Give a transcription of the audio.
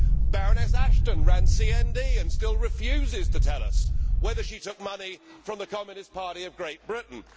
Baroness Ashton ran CND and still refuses to tell us whether she took money from the Communist Party of Great Britain.